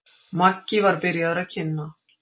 Maggi var byrjaður að kynna.